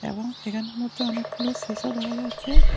এহন এহানমধ্যে অনেকগুলো শিশা দেখা যাচ্ছে।